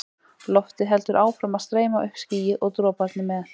Loftið heldur áfram að streyma upp skýið og droparnir með.